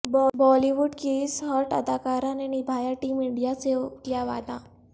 بالی would کی اس hot اداکارہ نے نبھایا ٹیم انڈیا سے کیا وعدہ